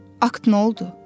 Akt nə oldu?